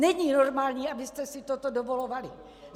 Není normální, abyste si toto dovolovali.